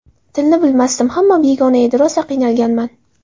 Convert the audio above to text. Tilni bilmasdim, hamma begona edi, rosa qiynalganman.